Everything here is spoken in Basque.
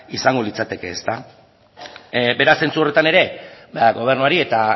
izango litzateke beraz zentzu horretan ere gobernuari eta